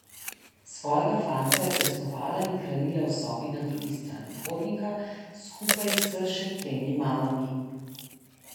Svojega fantka je pestovala in hranila v sobi na drugi strani hodnika skupaj s še tremi mamami.